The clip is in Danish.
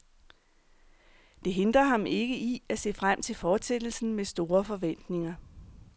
Det hindrer ham ikke i at se frem til fortsættelsen med store forventninger.